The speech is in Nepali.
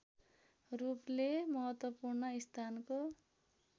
रूपले महत्वपूर्ण स्थानको